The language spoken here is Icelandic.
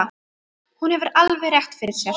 Hún hefur alveg rétt fyrir sér.